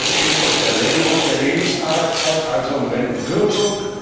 Es geht um Verlängerung der Lebensarbeitszeit, also um Rentenkürzung.